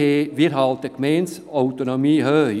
Wir halten die Gemeindeautonomie hoch.